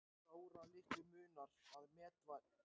Sáralitlu munar að met verði slegið